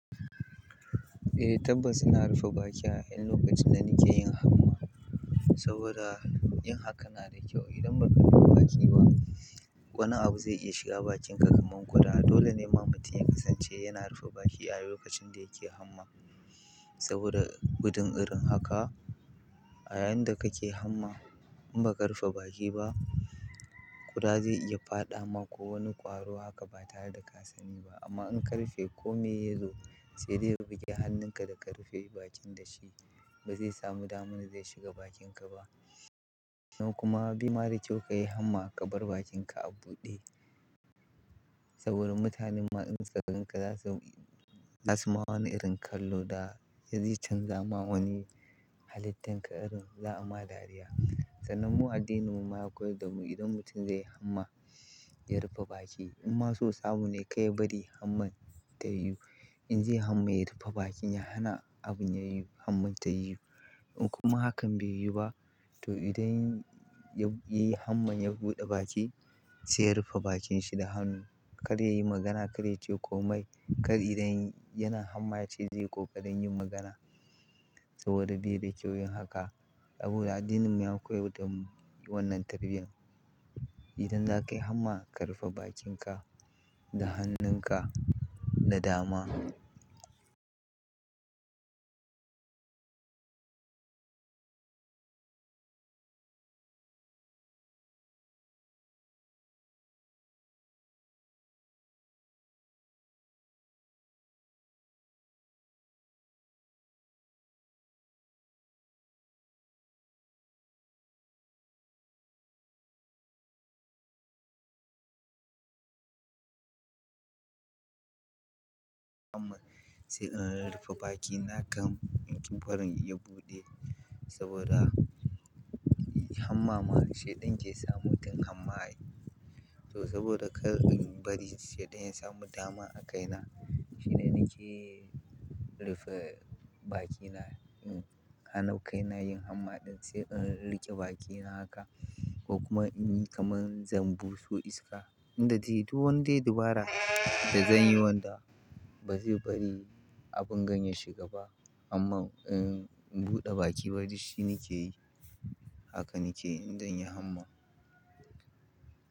Eh tabbas ina rufe bakina a lokacin da nake yin hamma saboda yin hakan na da kyau. Idan ba ka rufe baki ba, wani abu zai iya shiga bakinka kamar ƙuda. Dole ne ma mutum ya kasance yana rufe baki a lokacin da yake hamma saboda gudun irin haka. A yayin da kake hamma in ba ka rufe baki ba, ƙuda zai iya fadawa ko wani kwaro haka ba tare da ka sani ba. Amma in ka rufe, kome ya zo sai dai ya buge hannunka da ka rufe bakin da shi, ba zai samu damar zai shiga bakinka ba. Sannan kuma bai ma da kyau ka yi hamma ka bar bakinka a buɗe saboda mutanen ma in suka ganka, zasu ma wani irin kallo da zai canza ma wani halittanka irin za a ma dariya. Sannan mu addininmu ma ya koyar da mu idan mutum zai yi hamma ya rufe baki. Imma so samu ne kar ya bari hamman ta yi. In zai yi hamma ya rufe bakin ya hana abun ya yiwu, hamman ta yiwu. Kuma hakan bai yiwu ba to idan ya, ya yi hamman ya buɗe baki sai ya rufe bakin shi da hannu. Kar ya yi magana, kar ya ce komai. Kar idan yana hamma ya ce zai kokarin yin magana saboda bai da kyau yin haka. Saboda addininmu ya koyar da mu wannan tarbiyyan. Idan zakayi hamma ka rufe bakinka da hannunka na dama. Hamman sai in rufe bakina gam in ki barin ya buɗe saboda hammama shiɗan ke sa mutum hamma ai. To saboda kar in bari shiɗan ya samu dama a kaina shine nake rufe bakina. Na hana kai na yin hamma ɗin sai in riƙe bakina haka ko kuma in yi kamar zan buso iska inda dai duk wanni dai dabara da zan yi wanda ba zai bari abin gan ya shiga ba amma in buɗe baki bari shi nake yi haka nake indan yi hamma.